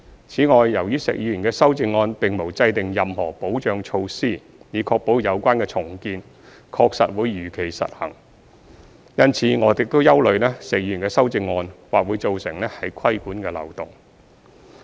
此外，由於石議員的修正案並無制訂任何保障措施，以確保有關的重建確實會如期實施，因此我們亦憂慮石議員的修正案或會造成規管的漏洞。